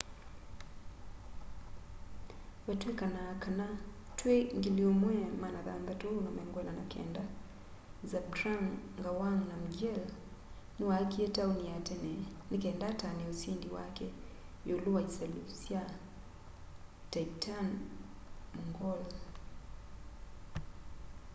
vatwikanaa kana twi 1649 zhabdrung ngawang namgyel niwaakie tauni ya tene nikenda atanie usindi wake iulu wa isalu sya tibetan-mongol